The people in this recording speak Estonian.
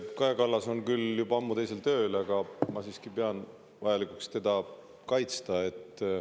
Kaja Kallas on küll juba ammu teisel tööl, aga ma siiski pean vajalikuks teda kaitsta.